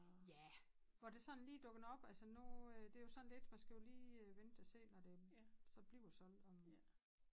Ja hvor der sådan lige dukker noget op altså nu øh det jo sådan lidt man skal jo lige vente og se når det så bliver solgt om